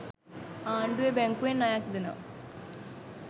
ආණ්ඩුවෙ බැංකුවෙන් ණයක් දෙනවා.